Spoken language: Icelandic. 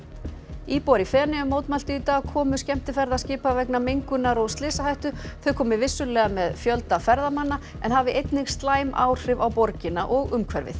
íbúar í Feneyjum mótmæltu í dag komu skemmtiferðaskipa vegna mengunar og slysahættu þau komi vissulega með fjölda ferðamanna en hafi einnig slæm áhrif á borgina og umhverfið